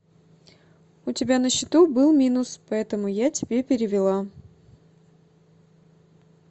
у тебя на счету был минус поэтому я тебе перевела